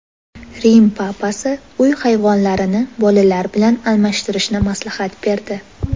Rim papasi uy hayvonlarini bolalar bilan almashtirishni maslahat berdi.